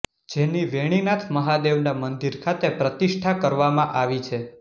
જેની વેણીનાથ મહાદેવના મંદિર ખાતે પ્રતિષ્ઠા કરવામાં આવી છે